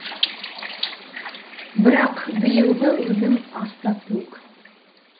бірақ биылғы өнім аста төк